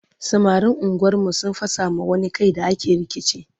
samarin unguwar mu sun fasa ma wani Kai da ake rikici